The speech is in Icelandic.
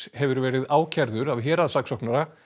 hefur verið ákærður af héraðssaksóknara